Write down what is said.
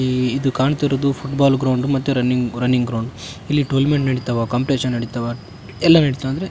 ಈ ಇದು ಕಾಣ್ತಿರೋದು ಫುಟ್ ಬಾಲ್ ಗ್ರೌಂಡ್ ಮತ್ತೆ ರನ್ನಿಂಗ್ ರನ್ನಿಂಗ್ ಗ್ರೌಂಡ್ ಇಲ್ಲಿ ಟೂರ್ನಮೆಂಟ್ ನಡಿತಾವ ಕೋಂಪಿಟೇಷನ್ ನಡಿತಾವ ಎಲ್ಲ ನಡಿತಾವ ಅಂದ್ರೆ.